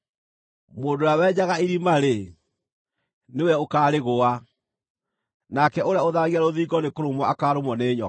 Mũndũ ũrĩa wenjaga irima-rĩ, nĩwe ũkaarĩgũa; nake ũrĩa ũtharagia rũthingo nĩkũrũmwo akaarũmwo nĩ nyoka.